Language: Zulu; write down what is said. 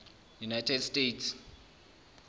united states